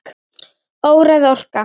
Óræð orka.